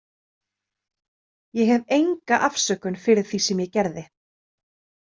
Ég hef enga afsökun fyrir því sem ég gerði.